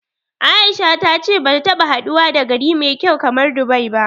A'isha ta ce bata taɓa haduwa da gari mai kyau kamar Dubai ba.